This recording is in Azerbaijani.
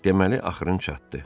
Deməli axırın çatdı.